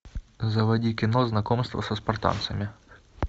заводи кино знакомство со спартанцами